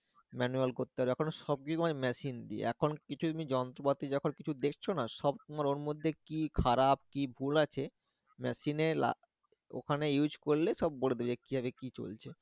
manual করতে হবে এখন সব গুলোই machine দিয়ে এখন কিছু কিছু যন্ত্রপাতি যখন তুমি দেখছো না, সব তোমার ওর মধ্যে কি খারাপ কি ভুল আছে? machine এ লা ওখানে ওখনে ইউস করলে সব বলবে যে, কি ভাবে কি করবে?